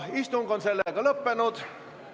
Istung on lõppenud.